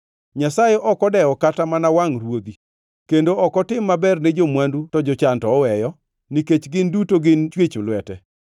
Nyasaye ok odewo kata mana wangʼ ruodhi kendo ok otim maber ne jo-mwandu to jochan to oweyo, nikech gin duto gin chwech lwete?